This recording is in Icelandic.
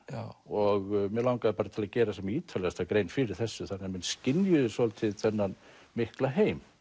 og mig langaði til að gera sem ítarlegasta grein fyrir þessu þannig að menn skynjuðu svolítið þennan mikla heim